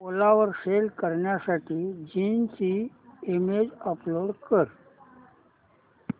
ओला वर सेल करण्यासाठी जीन्स ची इमेज अपलोड कर